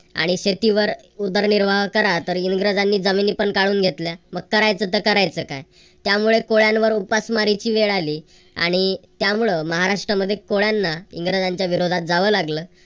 आणि शेतीवर उदरनिर्वाह करा तर इंग्रजांनी जमिनी पण काढून घेतल्या मग करायचं तर करायचं काय त्यामुळे कोळ्यांवर उपासमारीची वेळ आली आणि त्यामुळे महाराष्ट्रामध्ये कोळ्यांना इंग्रजांच्या विरोधात जावं लागलं.